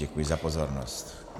Děkuji za pozornost.